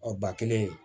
Ɔ ba kelen